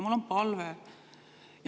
Mul on palve.